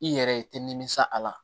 I yɛrɛ i tɛ nimisa a la